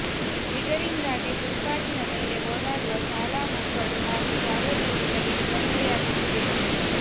ಇದರಿಂದಾಗಿ ಫುಟ್ಪಾತಿನ ಮೇಲೆ ಓಡಾಡುವ ಶಾಲಾ ಮಕ್ಕಳು ಹಾಗೂ ಸಾರ್ವಜನಿಕರಿಗೆ ತೊಂದರೆಯಾಗುತ್ತಿದೆ